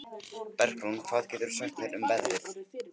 Bergrún, hvað geturðu sagt mér um veðrið?